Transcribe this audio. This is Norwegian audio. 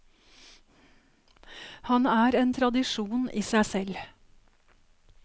Han er en tradisjon i seg selv.